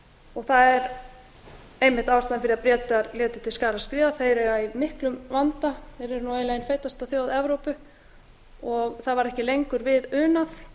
og það er einmitt ástæðan fyrir að bretar létu til skarar skríða þeir eiga í miklum vanda eru nú eiginlega ein feitasta þjóð evrópu g það var ekki lengur við unað